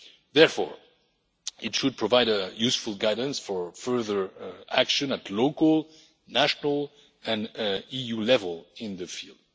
Therefore, it should provide a useful guidance for further action at local, national and EU level in the field.